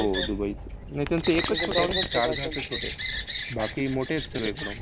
हो, दुबईचं. नाही, त्यांचं एकच छोटं आहे रे, शरजहाँचं छोटं आहे. बाकी मोठे आहेत सगळे ground